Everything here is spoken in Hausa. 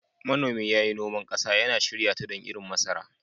Manomi ya yi noman ƙasa, yana shirya ta don irin masara.